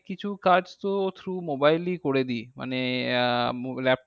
কিছু কাজতো through mobile এ করে দি। মানে আহ laptop